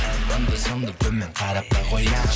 анда санда төмен қарап та қоямын